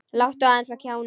Láttu eins og kjáni.